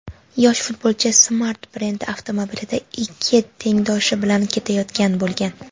yosh futbolchi "Smart" brendi avtomobilida ikki tengdoshi bilan ketayotgan bo‘lgan.